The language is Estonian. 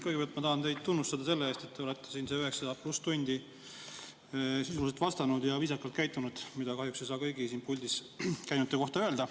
Kõigepealt tahan teid tunnustada selle eest, et te olete siin need üheksa pluss tundi sisuliselt vastanud ja viisakalt käitunud, mida kahjuks ei saa kõigi siin puldis käinute kohta öelda.